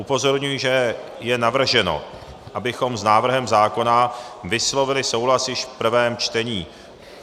Upozorňuji, že je navrženo, abychom s návrhem zákona vyslovili souhlas již v prvém čtení.